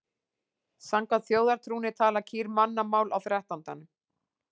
Samkvæmt þjóðtrúnni tala kýr mannamál á þrettándanum.